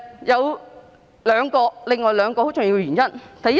有另外兩個很重要的原因。